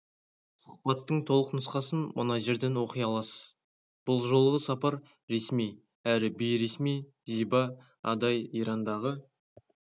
сұхбаттың толық нұсқасын мына жерден оқи аласыз бұл жолғы сапар ресми әрі бейресми зиба адай ирандағы